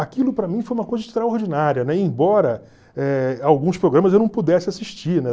Aquilo para mim foi uma coisa extraordinária, né, e embora eh alguns programas eu não pudesse assistir, né?